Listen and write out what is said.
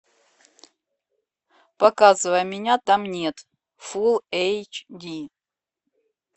показывай меня там нет фул эйч ди